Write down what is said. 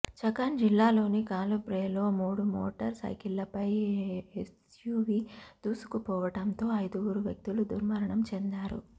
ఛకాన్ జిల్లాలోని ఖాలుబ్రేలో మూడు మోటర్ సైకిళ్లపై ఎస్యూవీ దూసుకుపోవడంతో ఐదుగురు వ్యక్తులు దుర్మరణం చెందారు